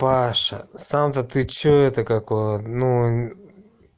паша сам то ты что это как его ну